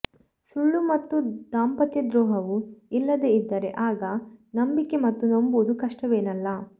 ಸುಳ್ಳು ಮತ್ತು ದಾಂಪತ್ಯದ್ರೋಹವು ಇಲ್ಲದೆ ಇದ್ದರೆ ಆಗ ನಂಬಿಕೆ ಮತ್ತು ನಂಬುವುದು ಕಷ್ಟವೇನಲ್ಲ